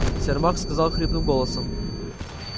сермак сказал хриплым голосом